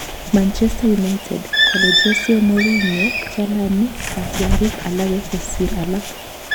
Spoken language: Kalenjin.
Manchester United: Kale Jose Mourinho chalani katyarik alage kosir alak